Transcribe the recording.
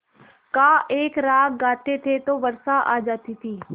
का एक राग गाते थे तो वर्षा आ जाती थी